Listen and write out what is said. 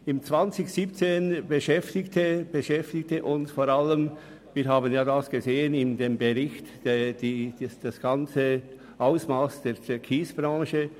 Im Jahr 2017 beschäftigte uns vor allem das Ausmass der Vorgänge rund um die Kiesbranche, wie sie im Bericht ersichtlich sind.